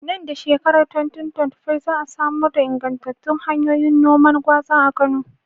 Nan da shekarar 2025, za a samar da ingantattun hanyoyin noman gwaza a Kano.